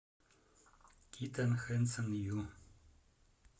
китон хэнсон ю